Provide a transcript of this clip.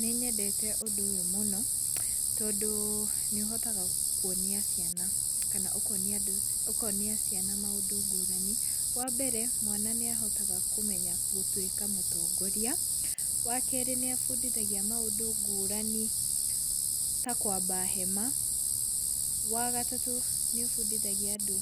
Nĩnyendete ũndũ ũyũ mũno tondũ nĩũhotaga kuonia ciana kana ũkonia andũ ũkonia ciana maũndũ ngũrani. Wambere mwana nĩahotaga kũmenya gũtuĩka mũtongoria. Wakerĩ nĩabundithagia maũndũ ngũrani ta kwamba hema. Wagatatũ nĩũbundithagia andũ